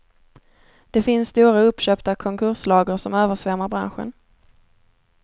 Det finns stora uppköpta konkurslager som översvämmar branschen.